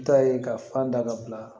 N ta ye ka fan da ka bila